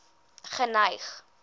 geneig